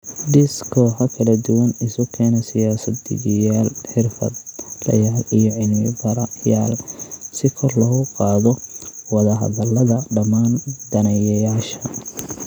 Dhis kooxo kala duwan, isu keena siyaasad dejiyeyaal, xirfadlayaal, iyo cilmi-baarayaal si kor loogu qaado wada-hadallada dhammaan daneeyayaasha